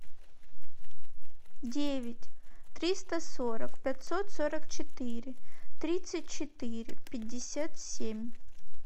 девять триста сорок пятьсот сорок четыре тридцать четыре пятьдесят семь